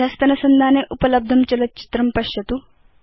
अधस्तनसंधाने उपलब्धं चलच्चित्रं पश्यतु